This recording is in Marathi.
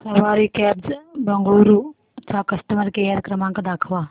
सवारी कॅब्झ बंगळुरू चा कस्टमर केअर क्रमांक दाखवा